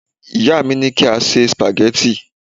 ìyá mi ni ki a se spaghetti